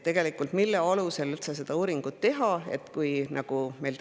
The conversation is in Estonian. Mille alusel siis üldse seda uuringut teha?